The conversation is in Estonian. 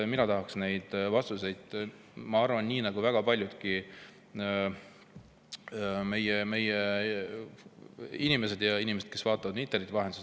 Mina tahaks neid vastuseid, ma arvan, nii nagu väga paljudki meie inimesed, kes vaatavad meid interneti vahendusel.